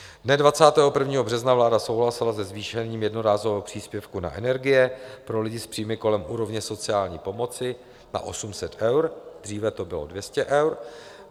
Dne 21. března vláda souhlasila se zvýšením jednorázového příspěvku na energie pro lidi s příjmy kolem úrovně sociální pomoci na 800 eur, dříve to bylo 200 eur.